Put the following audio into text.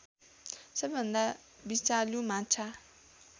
सबैभन्दा विषालु माछा